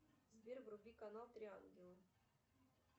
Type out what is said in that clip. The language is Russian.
сбер вруби канал три ангела